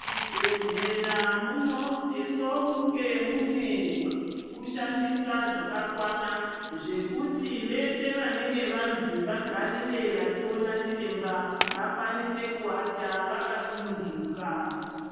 Chibhedhlera munosisa kunge mune zvekushandisa zvakakwana zvekuti vese vanenge vanzi vagarire vachiona chiremba vakwanise kuata vakasununguka.